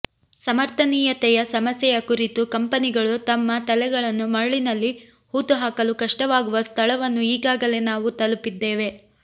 ಸಮರ್ಥನೀಯತೆಯ ಸಮಸ್ಯೆಯ ಕುರಿತು ಕಂಪನಿಗಳು ತಮ್ಮ ತಲೆಗಳನ್ನು ಮರಳಿನಲ್ಲಿ ಹೂತುಹಾಕಲು ಕಷ್ಟವಾಗುವ ಸ್ಥಳವನ್ನು ಈಗಾಗಲೇ ನಾವು ತಲುಪಿದ್ದೇವೆ